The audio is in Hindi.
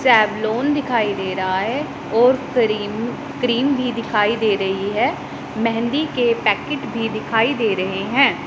सावलोन दिखाई दे रहा है और क्रीम क्रीम भी दिखाई दे रही है मेहंदी के पैकेट भी दिखाई दे रहे हैं।